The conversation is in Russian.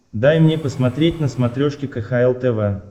дай мне посмотреть на смотрешке кхл тв